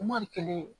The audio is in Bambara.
Mɔdi kelen